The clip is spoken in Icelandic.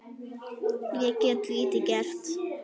Ég get lítið gert.